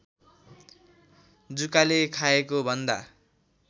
जुकाले खाएको भन्दा